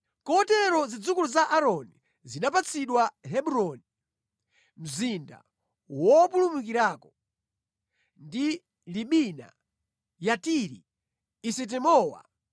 Kotero zidzukulu za Aaroni zinapatsidwa Hebroni (mzinda wopulumukirako), ndi Libina, Yatiri, Esitemowa,